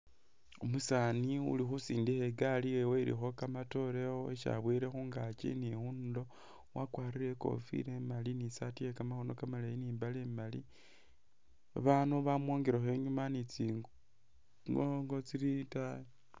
Umusaani uli khusindikha i'gali yewe ilikho kamatoore Isi abowele khungaki ni khundulo wakwalire ikofila imaali ni saati ye kamakhoono kamaleyi ni mbaale imaali, babaandu bamwongelekho i'nyuma ni tsi tsingoongo tsili itaayi